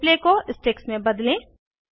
display को sticks में बदलें